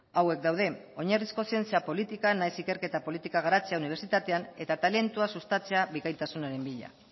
hauek daude oinarrizko zientzia politikan nahiz ikerketa politika garatzea unibertsitatean eta talentua sustatzea bikaintasunaren bila